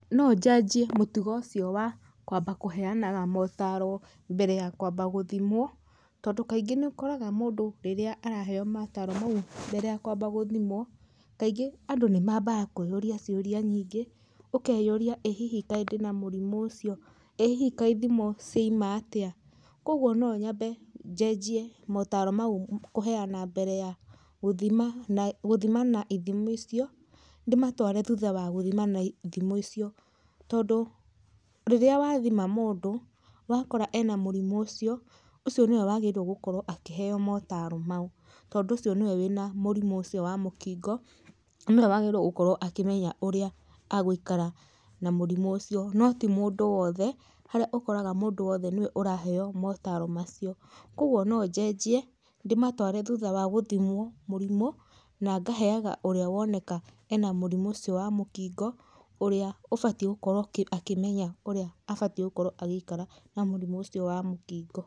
No njanjie mũtugo ũcio wa kwamba kũheanaga motaro mbere ya kwamba gũthimwo, tondũ kaingĩ nĩ ũkoraga mũndũ rĩrĩa araheywo mataro mau mbere ya kwamba gũthimwo, kaingĩ andũ nĩmambaga kwĩyũria ciuria nyingĩ, ukeyuria ĩ hihi kaĩ ndĩna murimu ucio? ĩ hii kaĩ ithimo ciauma atĩa? Kwogwo nonyambe njenjie motaro mau kuheana mbere ya guthima na, guthimana ithimi icio, ndĩmatware thutha wa guthimana ithimo icio, tondu rĩrĩa wathima mundu wakora ena murimu ucio, ucio nĩwe wagĩrĩirwo gukorwo akĩheywo motaro mau, tondu ũcio nĩwe wĩna mũrimũ ũcio wa mũkingo, nanĩwe wagĩrĩirwo gũkorwo akĩmenya ũrĩa agwĩkara na mũrimũ ũcio, no ti mũndũ o wothe harĩa ũkoraga mũndũ wothe nĩwe ũraheywo motaro macio. Kwogwo no njenjie ndĩmatware thutha wa gũthimwo mũrimũ, na ngaheyaga ũrĩa woneka ena mũrimũ ũcio wa mũkingo, ũrĩa ũbatiĩ gũkorwo ũkĩ, akĩmenya ũrĩa abatiĩ gũkorwo agĩikara na mũrimũ ũcio wa mũkingo.